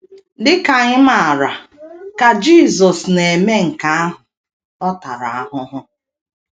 Dị ka anyị maara, ka Jisọs na - eme nke ahụ, ọ tara ahụhụ.